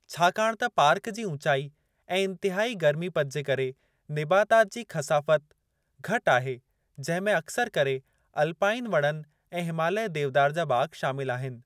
छाकाणि त पार्क जी ऊचाई ऐं इंतिहाई गर्मीपद जे करे, निबातात जी खसाफ़त घटि आहे, जंहिं में अक्सर करे अल्पाइन वणनि ऐं हिमालय देवदार जा बाग़ शामिलु आहिनि।